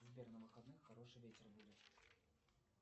сбер на выходных хороший ветер будет